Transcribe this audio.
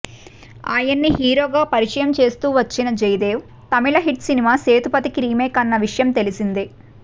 ఆయన్ని హీరోగా పరిచయం చేస్తూ వచ్చిన జయదేవ్ తమిళ్ హిట్ సినిమా సేతుపతి కి రీమేక్ అన్న విషయం తెలిసిందే